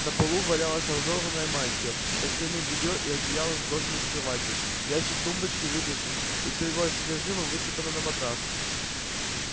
на полу валялась разорванная мантия постельное бельё и одеяла сброшены с кровати ящик тумбочки вытащен и всё его содержимое высыпано на матрас